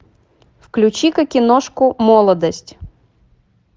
включи ка киношку молодость